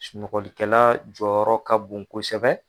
Sunɔgɔlikɛla jɔyɔrɔ ka bon kosɛbɛ.